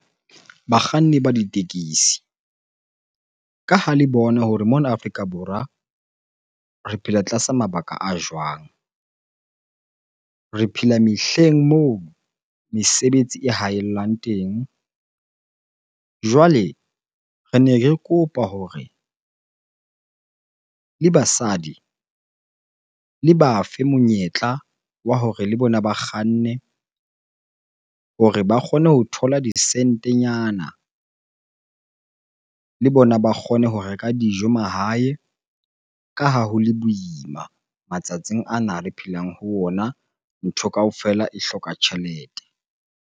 Bakganni ba ditekesi ka ha le bona hore mona Afrika Borwa re phela tlasa mabaka a jwang? Re phela mehleng moo mesebetsi e haellang teng. Jwale rene re kopa hore le basadi le ba fe monyetla wa hore le bona ba kganne hore ba kgone ho thola disentenyana, le bona ba kgone ho reka dijo mahae. Ka ha ho le boima matsatsing ana re phelang ho ona, ntho kaofela e hloka tjhelete.